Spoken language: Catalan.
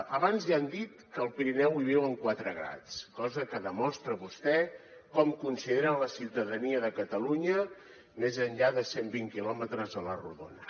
abans ja han dit que al pirineu hi viuen quatre gats cosa que demostra vostès com consideren la ciutadania de catalunya més enllà de cent vint quilòmetres a la rodona